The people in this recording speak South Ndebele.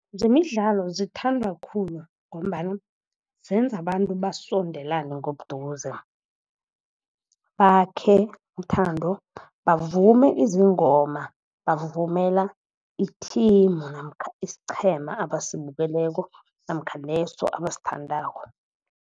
Zemidlalo zithandwa khulu, ngombana zenza abantu basondelane ngobuduze, bakhe uthando bavume izingoma bavumela ithimu namkha isiqhema abasibukeleko namkha leso abasithandako.